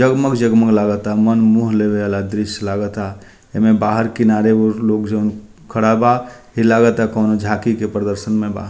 जग-मग जग-मग लागा ता मन मोह ले वाला दृश्य लागा ता एमें बाहर किनारे उ लोग जोन खड़ा बा इ लागा ता कोनो झांकी के प्रदर्शन में बा।